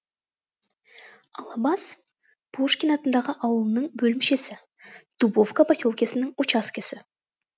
алабас пушкин атындағы ауылының бөлімшесі дубовка поселкесінің учаскесі